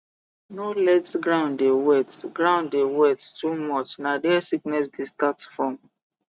no let ground dey wet ground dey wet too much na there sickness dey start from